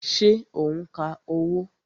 Ṣé o n ka owó?